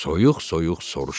Soyuq-soyuq soruşdu.